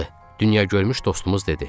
dünya görmüş dostumuz dedi.